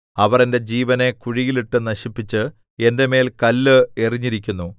അവർ എന്റെ ജീവനെ കുഴിയിൽ ഇട്ട് നശിപ്പിച്ച് എന്റെ മേൽ കല്ല് എറിഞ്ഞിരിക്കുന്നു